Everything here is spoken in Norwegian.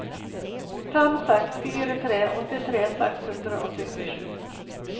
fem seks fire tre åttitre seks hundre og syttisju